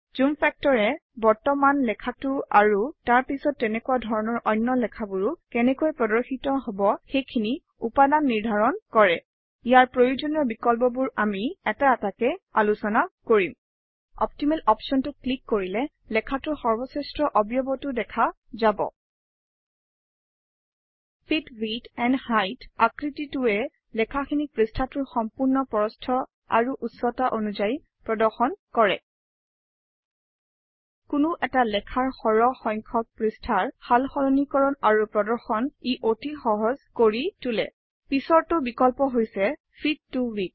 জুম factor এ বৰ্তমানৰ লেখাটো আৰু তাৰ পিছত তেনেকুৱা ধৰণৰ অন্য লেখাবোৰো কেনেকৈ প্ৰদৰ্শিত হব সেইখিনি উপাদান নিৰ্ধাৰণ কৰে ইয়াৰ প্ৰয়োজনীয় বিকল্পবোৰ আমি এটা এটাকৈ আলোচনা কৰিম অপ্টিমেল অপশ্যনটোত ক্লিক কৰিলে লেখাটোৰ সৰ্বশ্ৰেষ্ঠ অৱয়বটো দেখা যাব ফিট উইডথ এণ্ড হাইট আকৃতিটোৱে লেখাখিনিক পৃষ্ঠাটোৰ সম্পূৰ্ণ প্ৰস্থ আৰু উচ্চতা অনুযায়ী প্ৰদৰ্শন কৰে কোনো এটা লেখাৰ সৰহ সংখ্যক পৃষ্ঠাৰ সাল সলনিকৰণ আৰু প্ৰদৰ্শন ই অতি সহজ কৰি তোলে পিছৰটো বিকল্প হৈছে ফিট ত width